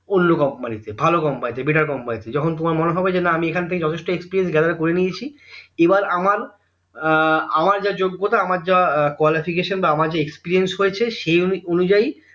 অন্য company তে ভালো company better company তে যখন তোমার মনে হবে যে না আমি এখন থেকে যথেষ্ট experience gather করে নিয়েছি আহ এবার আমার যা যোগ্যতা আমার যা qualification বা আমার যা experience হয়েছে সেই অনুযায়ী